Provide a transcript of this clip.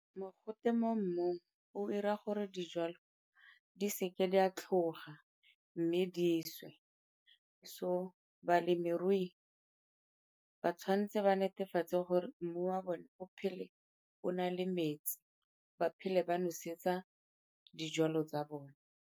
Mogote mo mmung o ira gore dijalo di seke di a tlhoga mme di swe. So balemirui ba tshwanetse ba netefatse gore mmu wa bone o phele o na le metsi, ba phele ba nosetsa dijalo tsa bone.